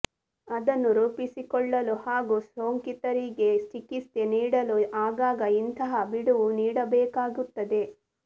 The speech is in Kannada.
ಅದನ್ನು ರೂಪಿಸಿಕೊಳ್ಳಲು ಹಾಗೂ ಸೋಂಕಿತರಿಗೆ ಚಿಕಿತ್ಸೆ ನೀಡಲು ಆಗಾಗ ಇಂತಹ ಬಿಡುವು ನೀಡಬೇಕಾಗುತ್ತದೆ